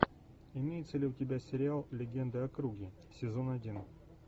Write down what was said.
имеется ли у тебя сериал легенда о круге сезон один